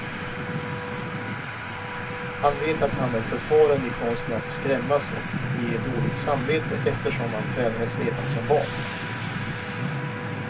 Han vet att han är förfaren i konsten att skrämmas och ge dåligt samvete, eftersom han tränades redan som barn.